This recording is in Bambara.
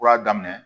Kura daminɛ